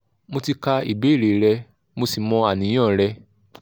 mo ti kà ìbéèrè rẹ mo sì mọ àníyàn rẹ